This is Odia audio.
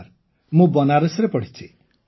ହଁ ସାର୍ ମୁଁ ବନାରସରେ ପଢ଼ିଛି